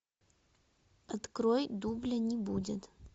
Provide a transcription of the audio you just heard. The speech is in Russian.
открой дубля не будет